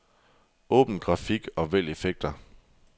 Åbn grafik og vælg effekter.